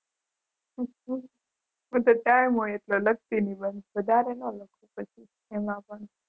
હું તો ટાઈમ હોય એટલું લખતી નિબંધ વધારે ન લખો પછી. એમાં પણ